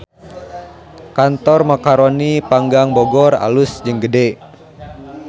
Kantor Macaroni Panggang Bogor alus jeung gede